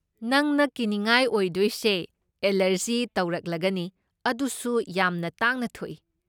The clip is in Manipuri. ꯈꯪꯅ ꯀꯤꯅꯤꯉꯥꯏ ꯑꯣꯏꯗꯣꯏꯁꯦ ꯑꯦꯂꯔꯖꯤ ꯇꯧꯔꯛꯂꯒꯅꯤ, ꯑꯗꯨꯁꯨ ꯌꯥꯝꯅ ꯇꯥꯡꯅ ꯊꯣꯛꯏ꯫